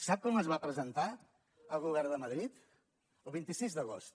sap quan les va presentar el govern de madrid el vint sis d’agost